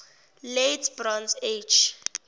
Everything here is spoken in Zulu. late bronze age